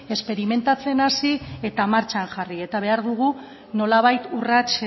esperimentatzen hasi eta martxan jarri eta behar dugu nolabait urrats